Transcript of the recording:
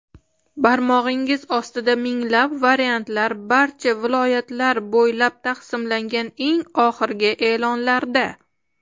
Barmog‘ingiz ostida minglab variantlar barcha viloyatlar bo‘ylab taqsimlangan eng oxirgi e’lonlarda!.